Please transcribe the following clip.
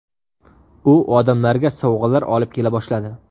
U odamlarga sovg‘alar olib kela boshladi.